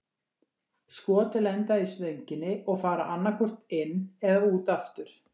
Skot lenda í stönginni og fara annað hvort inn eða út aftur.